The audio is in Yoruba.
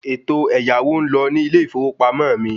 Ètò ẹ̀yáwó ń lọ ní ilé ìfowópamọ́ mi